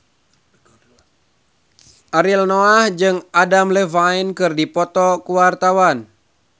Ariel Noah jeung Adam Levine keur dipoto ku wartawan